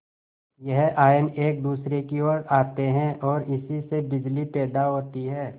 यह आयन एक दूसरे की ओर आते हैं ओर इसी से बिजली पैदा होती है